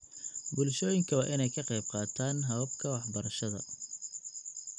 Bulshooyinka waa in ay ka qaybqaataan hababka waxbarashada.